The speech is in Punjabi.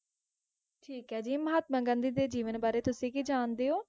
ਠੀਕ ਏ ਜੀ ਮਹਾਤਮਾ ਗਾਂਧੀ ਦੇ ਜੀਵਨ ਬਾਰੇ ਤੁਸੀਂ ਕੀ ਜਾਣਦੇ ਹੋ?